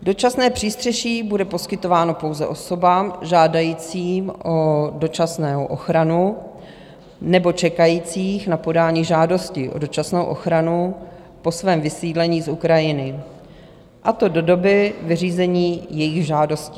Dočasné přístřeší bude poskytováno pouze osobám žádajícím o dočasnou ochranu nebo čekajícím na podání žádosti o dočasnou ochranu po svém vysídlení z Ukrajiny, a to do doby vyřízení jejich žádostí.